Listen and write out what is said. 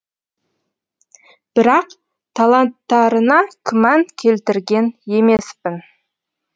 бірақ таланттарына күмән келтірген емеспін